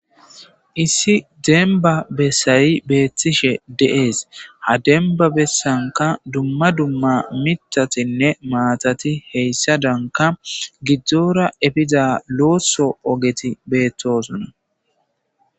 issi demba bessayi beettishe deees ha demba bessanka dumma dumma mitatinne maatati heyssa danka gidzdzoora efiza looso ogeti beettosuna